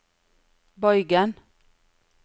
bøygen